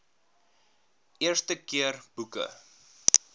eerste keer boeke